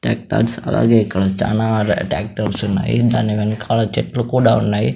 Tractors అలాగే ఇక్కడ చానా ట్యాక్టర్స్ ఉన్నాయి దాని వెన్కాల చెట్లు కూడా ఉన్నాయి.